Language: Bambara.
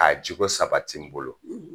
A cogo sabati n bolo